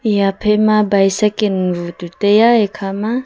eya phaima bicycle bu chu taiya eya kha ma.